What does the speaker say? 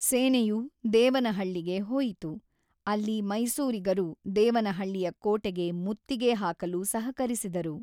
ಸೇನೆಯು ದೇವನಹಳ್ಳಿಗೆ ಹೋಯಿತು, ಅಲ್ಲಿ ಮೈಸೂರಿಗರು ದೇವನಹಳ್ಳಿಯ ಕೋಟೆಗೆ ಮುತ್ತಿಗೆ ಹಾಕಲು ಸಹಕರಿಸಿದರು.